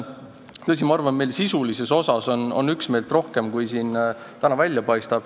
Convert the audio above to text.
Tõsi, ma arvan, et sisulises osas on meil siin üksmeelt rohkem, kui täna välja paistab.